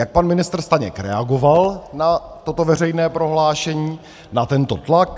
Jak pan ministr Staněk reagoval na toto veřejné prohlášení, na tento tlak?